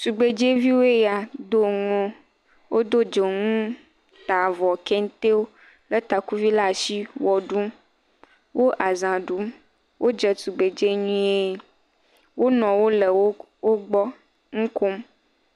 tugbɛdzɛviwo ya wodó dzoŋuwo tavɔ taŋuwo le takuvi la'si wɔɖum wóle azã ɖum wó dze tugbe tsɛ nyuie wó nɔwo le wógbɔ ŋukom